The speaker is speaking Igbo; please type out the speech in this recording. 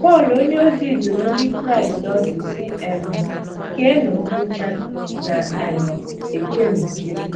Pọl onyeozi dụrụ Ndị Kraịst ọdụ, sị, um “ keenụ nkwụcha, na um - echenụ nche.